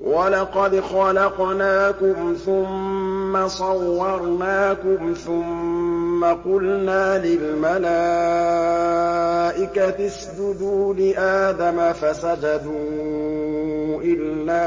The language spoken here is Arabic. وَلَقَدْ خَلَقْنَاكُمْ ثُمَّ صَوَّرْنَاكُمْ ثُمَّ قُلْنَا لِلْمَلَائِكَةِ اسْجُدُوا لِآدَمَ فَسَجَدُوا إِلَّا